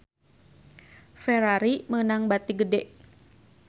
Ferrari meunang bati gede